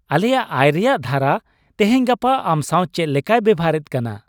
ᱟᱞᱮᱭᱟᱜ ᱟᱭ ᱨᱮᱭᱟᱜ ᱫᱷᱟᱨᱟ ᱛᱮᱦᱮᱧᱼᱜᱟᱯᱟ ᱟᱢ ᱥᱟᱶ ᱪᱮᱫ ᱞᱮᱠᱟᱭ ᱵᱮᱣᱦᱟᱨᱮᱫ ᱠᱟᱱᱟ ?